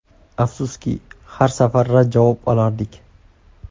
Afsuski, har safar rad javob olardik.